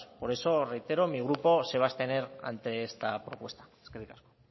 por eso reitero mi grupo se va a abstener ante esta propuesta eskerrik asko